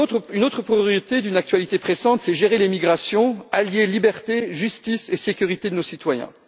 Une autre priorité d'une actualité pressante, c'est de gérer l'immigration, d'allier liberté, justice et sécurité de nos citoyens.